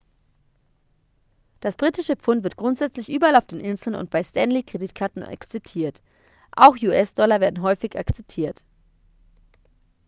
das britische pfund wird grundsätzlich überall auf den inseln und bei stanley-kreditkarten akzeptiert auch us-dollar werden häufig akzeptiert